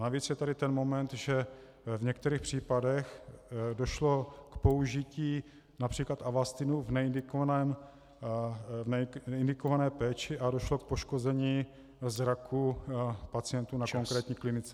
Navíc je tady ten moment, že v některých případech došlo k použití například Avastinu v neindikované péči a došlo k poškození zraku pacientů na konkrétní klinice.